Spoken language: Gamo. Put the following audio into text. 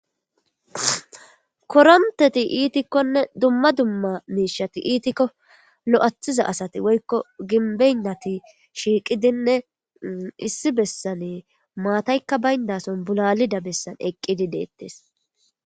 koronteti iitikkonne dumma dumma miishati iitikko lo7athiza asati woykko ginbeynnati shiiqidinne issi bessane maataykka bayndason bulalida bessan eqqidi deettes